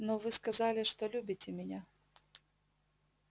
но вы сказали что любите меня